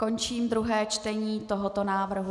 Končím druhé čtení tohoto návrhu.